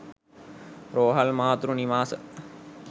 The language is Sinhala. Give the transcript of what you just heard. රෝහල්, මාතෘ නිවාස,